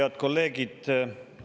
Head kolleegid!